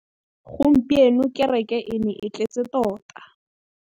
Gompieno kêrêkê e ne e tletse tota.